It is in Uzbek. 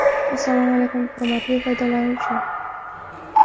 Assalomu alaykum, hurmatli foydalanuvchi!